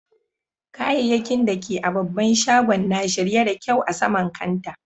Kayakkin da ke a'babban shagon na shirye da kyau a sama'n kantaa.